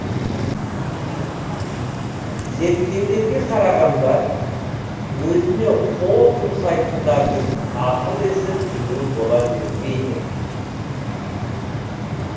зерттеулерге қарағанда өзіне қол жұмсайтындардың ақыл есі төмен бола бермейді